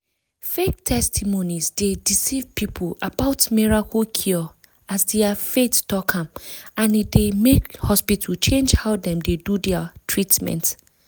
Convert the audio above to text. fake testimonies dey deceive people about miracle cure as their faith talk am and e dey make hospital change how dem dey do their treatment.